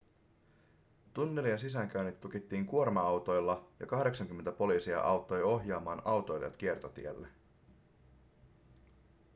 tunnelien sisäänkäynnit tukittiin kuorma-autoilla ja 80 poliisia auttoi ohjaamaan autoilijat kiertotielle